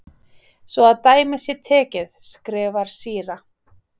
Svo að dæmi sé tekið, skrifar síra